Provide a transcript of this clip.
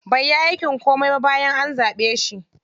Bai yi aikin komai ba bayan an zaɓe shi.